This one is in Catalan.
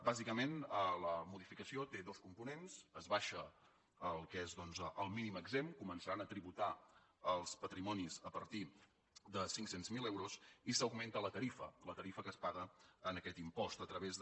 bàsicament la modificació té dos components s’abaixa el que és el mínim exempt començant a tributar els patrimonis a partir de cinc cents miler euros i s’augmenta la tarifa la tarifa que es paga en aquest impost a través de